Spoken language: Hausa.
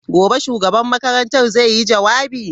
Gobe ​​shugaban makarantar zai yi jawabi?